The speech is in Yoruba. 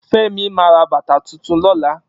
Femi ma ra bàtà tuntun lọ́la